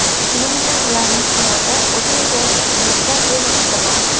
Shuning uchuin ularning hayoti o‘zi yashayotgan hududga bevosita bog‘liq.